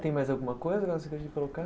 Tem mais alguma coisa de colocar?